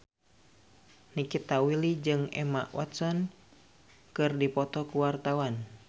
Nikita Willy jeung Emma Watson keur dipoto ku wartawan